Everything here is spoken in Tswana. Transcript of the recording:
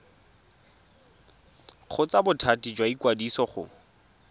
kgotsa bothati jwa ikwadiso go